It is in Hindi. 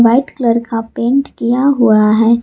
व्हाइट कलर का पेंट किया हुआ है।